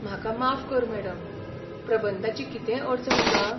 म्हाका माफ कर मॅडम, प्रबंधाची कितेंय अडचण आसा?